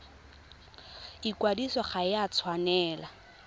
ikwadiso ga e a tshwanela